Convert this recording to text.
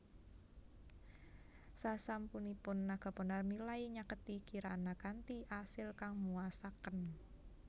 Sasampunipun Naga Bonar milai nyaketi Kirana kanthi asil kang muasaken